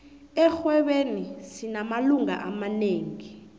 erhwebeni sinamalunga amanengi